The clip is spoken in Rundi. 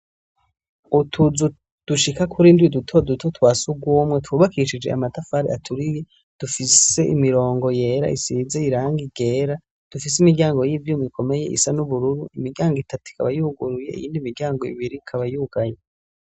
Utuzu dushika kuri ndiwi dutoduto twa sugumwe twubakishije amatafari aturiye dufise imirongo yera isize irangi igera dufise imiryango y'ivyumi ikomeye isa n'ubururu imiryango itatu ikaba yuguruye iyindi miryango ibiri ikaba yuganye.